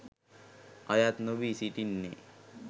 අයත් නොවී සිටින්නේ.